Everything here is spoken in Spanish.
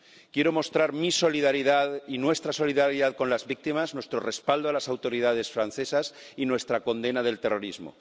Quiero mostrar mi solidaridad y nuestra solidaridad con las víctimas. Nuestro respaldo a las autoridades francesas y nuestra condena del terrorismo.